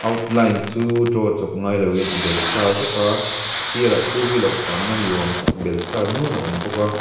outline chu draw chawp ngai loin a bel sa vek a a sirah two wheeler tlanna ni awm tak bel sa nuan a awm bawk a.